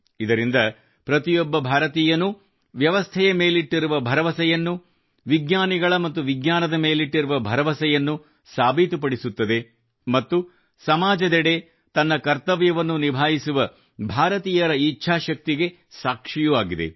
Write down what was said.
ಇದರಿಂದ ಪ್ರತಿಯೊಬ್ಬ ಭಾರತೀಯನೂ ವ್ಯವಸ್ಥೆಯ ಮೇಲಿಟ್ಟಿರುವ ಭರವಸೆಯನ್ನು ವಿಜ್ಞಾನಿಗಳ ಮತ್ತು ವಿಜ್ಞಾನದ ಮೇಲಿಟ್ಟಿರುವ ಭರವಸೆಯನ್ನು ಸಾಬೀತುಪಡಿಸುತ್ತದೆ ಮತ್ತು ಸಮಾಜದೆಡೆ ತನ್ನ ಕರ್ತವ್ಯವನ್ನು ನಿಭಾಯಿಸುವ ಭಾರತೀಯರ ಇಚ್ಛಾಶಕ್ತಿಗೆ ಸಾಕ್ಷಿಯೂ ಆಗಿದೆ